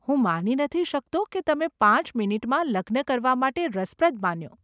હું માની નથી શકતો કે તમે પાંચ મીનીટમાં લગ્ન કરવા માટે રસપ્રદ માન્યો.